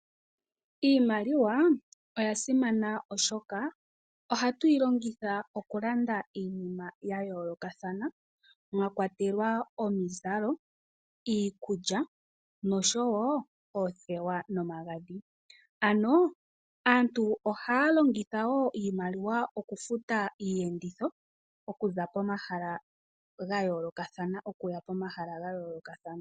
Iimaliwa oya simana oshoka ohatu yi longitha okulanda iinima ya yoolokathana mwa kwatelwa omizalo, iikulya noshowo oothewa nomagadhi ano aantu ohaya longitha wo iimaliwa okufuta iiyenditho okuza pomahala ga yoolokathana okuya komahala ga yoolokathana.